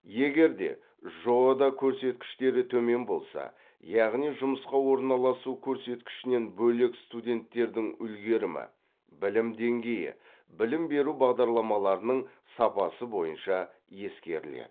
егер де жоо да көрсеткіштері төмен болса яғни жұмысқа орналасу көрсеткішінен бөлек студенттердің үлгерімі білім деңгейі білім беру бағдарламаларының сапасы бойынша ескеріледі